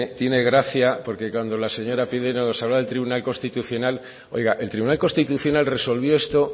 tiene gracia porque cuando la señora pinedo nos habla del tribunal constitucional oiga el tribunal constitucional resolvió esto